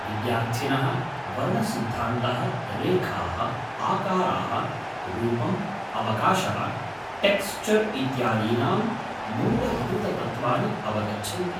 विद्यार्थिनः वर्णसिद्धान्तः, रेखाः, आकाराः, रूपं, अवकाशः, टेक्स्चर् इत्यादीनाम् मूलभूततत्त्वानि अवगच्छन्ति।